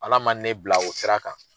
Ala man ne bila o sira kan.